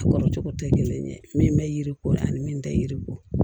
A kɔrɔ cogo tɛ kelen ye min bɛ yiri ko ani min tɛ yiri bɔ